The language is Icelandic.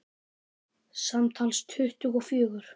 Samtals tuttugu og fjögur.